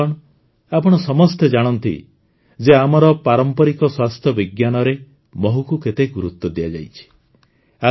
ବନ୍ଧୁଗଣ ଆପଣ ସମସ୍ତେ ଜାଣନ୍ତି ଯେ ଆମର ପାରମ୍ପରିକ ସ୍ୱାସ୍ଥ୍ୟ ବିଜ୍ଞାନରେ ମହୁକୁ କେତେ ଗୁରୁତ୍ୱ ଦିଆଯାଇଛି